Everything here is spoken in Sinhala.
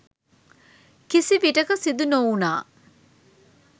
කිසිවිටක සිදු නොවුණා.